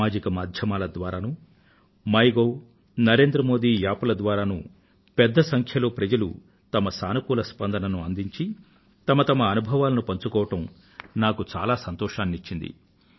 సామాజిక మాధ్యమాల ద్వారా మైగోవ్ మరియు తే నరేంద్ర మోది App ల ద్వారా పెద్ద సంఖ్యలో ప్రజలు వారి సానుకూల స్పందనను అందించి వారి వారి అనుభవాలను పంచుకోవడం నాకు చాలా సంతోషాన్ని ఇచ్చింది